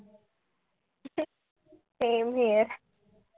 same here